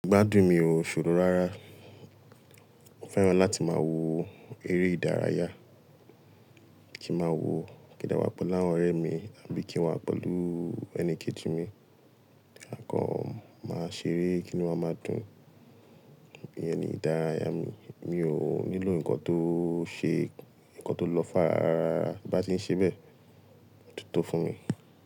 Gbádùn mi ò ṣòro rárá. Mo fẹ́ràn láti máa wo eré ìdárayá, kí máa wo kí n dà wá pẹ̀lú àwọn ọ̀rẹ́ mi àbí kí n wá pẹ̀lú ẹni kejì mi. Àkọ́ máa ṣeré kí nu wa máa dùn. Bẹ́ẹ̀ ni ìdárayá mi. Mi ò nílò ǹkan tó ṣe ǹkan tó lọ́ far rárá bí a bá ti ń ṣe bẹ́ẹ̀, ó tito fún mi.